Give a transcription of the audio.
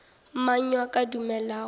mang yo a ka dumelago